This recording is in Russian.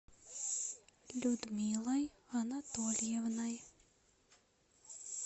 людмилой анатольевной